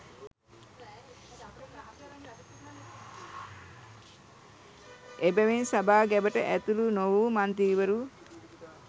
එබැවින් සභා ගැබට ඇතුළු නොවූ මන්ත්‍රීවරු